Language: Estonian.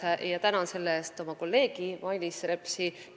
Tänan sellele tähelepanu juhtimise eest oma kolleegi Mailis Repsi.